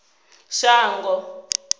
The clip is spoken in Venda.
shango